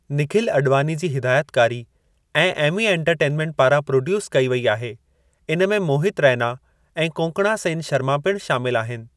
निखिल अॾवानी जी हिदायतकारी ऐं एमी इनटरटींमींट पारां प्रोड्यूस कई वई आहे इन में मोहितु रैना ऐं कोंकणा सैन शर्मा पिणु शामिलु आहिनि।